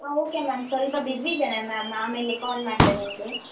ಹಾ okay ma’am , ಸ್ವಲ್ಪ busy ಇದೇನೇ ma’am ಆಮೇಲೆ call ಮಾಡ್ತೇನೆ ನಿಮ್ಗೆ.